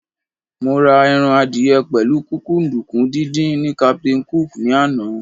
Mo ra ẹran adìyẹ pẹ̀lú kúkúǹdùkú díndín ní Captain Cook ní àná.